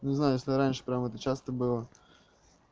не знаю если раньше прям это часто было